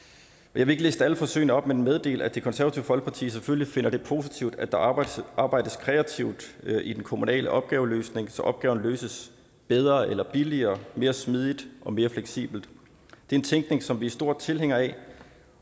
vil ikke liste alle forsøgene op men meddele at det konservative folkeparti selvfølgelig finder det positivt at der arbejdes arbejdes kreativt i den kommunale opgaveløsning så opgaven løses bedre eller billigere mere smidigt og mere fleksibelt det er en tænkning som vi er store tilhængere af